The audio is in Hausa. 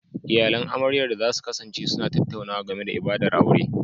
Iyalan amaryar da za su kasance suna tattaunawa game da ibadar aure